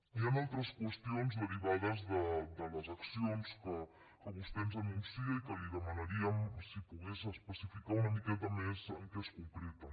hi han altres qüestions derivades de les accions que vostè ens anuncia i que li demanaríem si pogués especificar una mica més en què es concreten